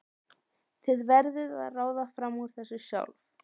Þið verðið að ráða fram úr þessu sjálf.